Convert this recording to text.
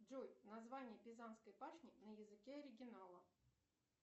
джой название пизанской башни на языке оригинала